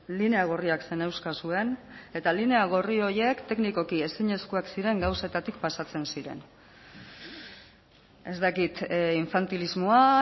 linea gorriak zeneuzkazuen eta linea gorri horiek teknikoki ezinezkoak ziren gauzetatik pasatzen ziren ez dakit infantilismoa